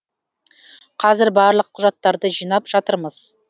қазір барлық құжаттарды жинап жатырмыз